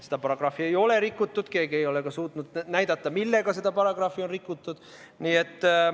Seda paragrahvi ei ole rikutud, keegi ei ole suutnud näidata, millega seda paragrahvi on rikutud.